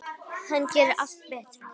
Hann gerði allt betra.